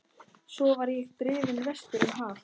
Svo var ég drifinn vestur um haf.